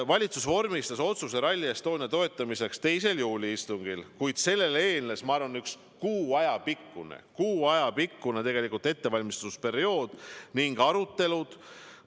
Valitsus vormistas otsuse Rally Estonia toetamiseks 2. juuli istungil, kuid sellele eelnes, ma arvan, umbes kuu aja pikkune ettevalmistusperiood, eelnesid arutelud.